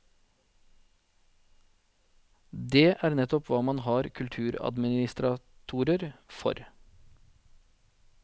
Det er nettopp hva man har kulturadministratorer for.